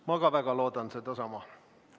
Ma väga loodan sedasama.